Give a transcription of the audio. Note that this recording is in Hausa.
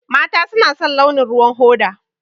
Mata suna son launin ruwan hoda.